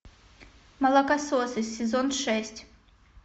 молокососы сезон шесть